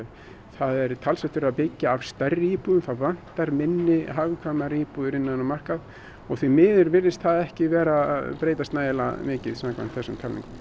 það er talsvert verið að byggja af stærri íbúðum það vantar minni hagkvæmari íbúðir á þennan markað og því miður virðist það ekki vera að breytast nægilega mikið samkvæmt þessum tölum